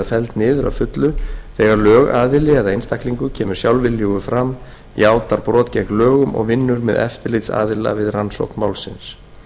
felld niður að fullu þegar lögaðili eða einstaklingur kemur sjálfviljugur fram játar brot gegn lögum og vinnur með eftirlitsaðila við rannsókn málsins